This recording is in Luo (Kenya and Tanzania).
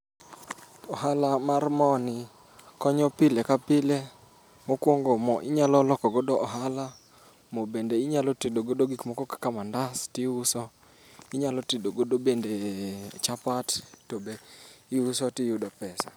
Ohala mar mo ni konyo pile kapile. Mokuongo mo inyalo loko godo ohala, mo bende inyalo tedo godo gik moko kaka mandas to iuso, inyalo tedo godo bende chapat to be iuso to iyudo pesa.